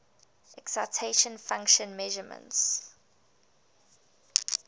excitation function measurements